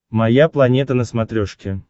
моя планета на смотрешке